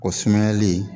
O sumayali